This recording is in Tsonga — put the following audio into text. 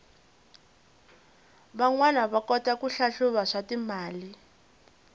vanwana va kota ku hlahluva swatimali